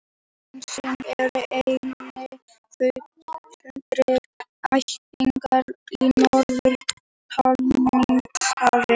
Selhnísan er eini fulltrúi ættarinnar í Norður-Atlantshafi.